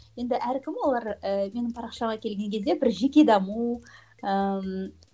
енді әркім олар ііі менің парақшама келген кезде бір жеке даму ііі